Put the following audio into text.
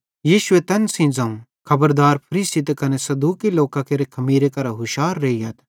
यीशुए तैन सेइं ज़ोवं खबरदार फरीसी ते कने सदूकी लोकां केरे खमीरे करां हुशार रेइयथ